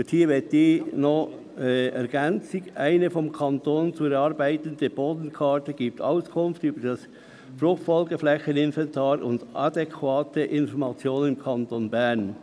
Ich möchte hierzu eine Ergänzung, nämlich: «Eine vom Kanton zu erarbeitende Bodenkarte gibt Auskunft über das FFF-Inventar und adäquate Informationen im Kanton Bern.»